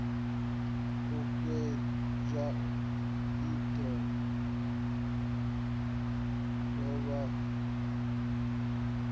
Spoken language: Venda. u fhenywa ilo duvha mutambo